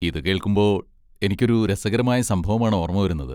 ഇതുകേൾക്കുമ്പോൾ എനിക്കൊരു രസകരമായ സംഭവമാണ് ഓർമ വരുന്നത്.